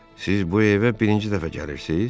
Siz bu evə birinci dəfə gəlirsiz?